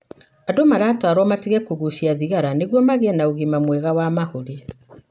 Andũ maratarwo matige kũgucia thigara nĩguo magie na ũgima mwega wa mahũri.